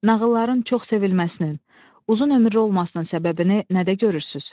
Nağılların çox sevilməsinin, uzunömürlü olmasının səbəbini nədə görürsüz?